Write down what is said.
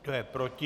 Kdo je proti?